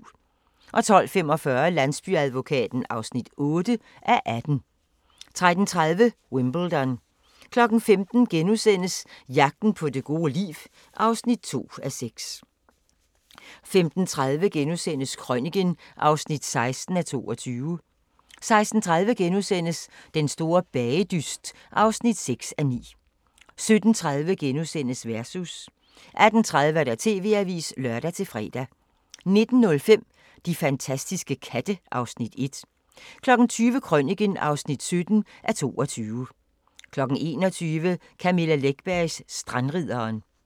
12:45: Landsbyadvokaten (8:18) 13:30: Wimbledon 15:00: Jagten på det gode liv (2:6)* 15:30: Krøniken (16:22)* 16:30: Den store bagedyst (6:9)* 17:30: Versus * 18:30: TV-avisen (lør-fre) 19:05: De fantastiske katte (Afs. 1) 20:00: Krøniken (17:22) 21:00: Camilla Läckbergs Strandridderen